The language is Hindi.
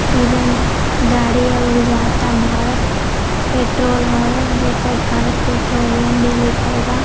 ई जौन गाड़ी ह ऊ जाता भारत पेट्रोल हवे जय पर भारत पेट्रोलियम भी लिखल बा।